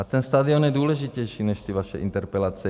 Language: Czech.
A ten stadion je důležitější než ty vaše interpelace.